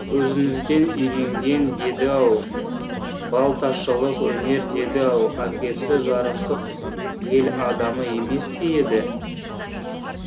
өзіңізден үйренген деді ау балташылық өнер деді ау әкесі жарықтық ел адамы емес пе еді